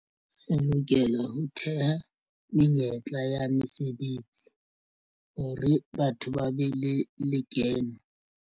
Re lokela ho theha menyetla ya mesebetsi hore batho ba be le lekeno.